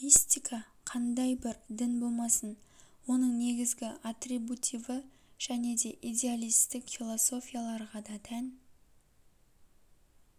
мистика кандай бір дін болмасын оның негізгі атрибутиві және де идеалистік философияларға да тән